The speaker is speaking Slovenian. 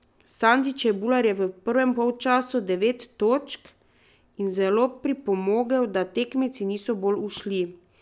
Sandi Čebular je v prvem polčasu devet točk in zelo pripomogel, da tekmeci niso bolj ušli.